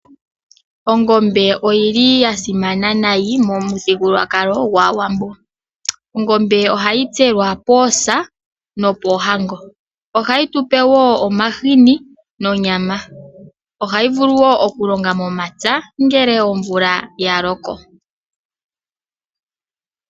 Ongombe oyili ya simana nayi momuthigululwakalo gwaawambo. Ongombe ohayi tselwa poosa nopoohango. Ohayi tupewo omahini nonyama. Ohayi vuluwo oku longa momapya ngele omvula ya loko.